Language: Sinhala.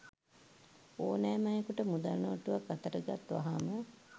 ඕනෑම අයෙකුට මුදල් නෝට්ටුවක් අතට ගත් වහාම